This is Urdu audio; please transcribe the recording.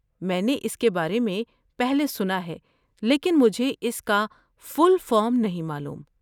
میں نے اس کے بارے میں پہلے سنا ہے، لیکن مجھے اس کا فل فارم نہیں معلوم۔